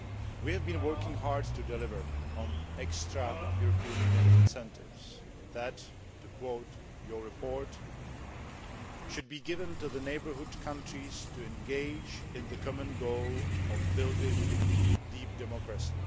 We have been working hard to deliver on extra European Union incentives that, to quote your report, should be given to the neighbourhood countries to engage in the common goal of building deep democracy'.